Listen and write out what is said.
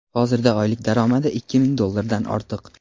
hozirda oylik daromadi ikki ming dollardan ortiq.